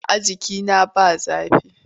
A'a jikina ba zafi.